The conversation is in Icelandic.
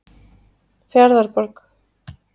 Fjarðarborg